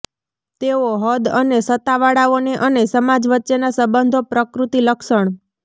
તેઓ હદ અને સત્તાવાળાઓને અને સમાજ વચ્ચેના સંબંધો પ્રકૃતિ લક્ષણ